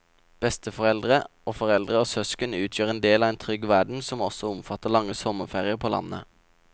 Besteforeldre og foreldre og søsken utgjør en del av en trygg verden som også omfatter lange sommerferier på landet.